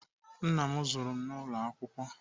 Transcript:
Nna m zụrụ n'ụlọ akwụkwọ.